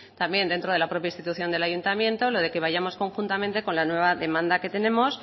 también dentro de la propia institución del ayuntamiento lo de que vayamos conjuntamente con la nueva demanda que tenemos